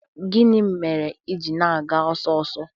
Gịnị mere i ji na-aga ọsọ ọsọ?